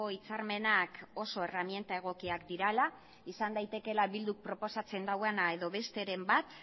hitzarmenak oso erreminta egokiak direla izan daitekeela eh bilduk proposatzen duena edo besteren bat